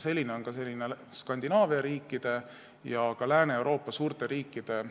Selline on Skandinaavia riikide ja suurte Lääne-Euroopa riikide